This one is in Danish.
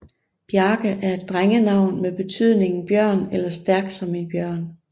Bjarke er et drengenavn med betydningen bjørn eller stærk som en bjørn